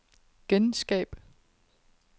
genskab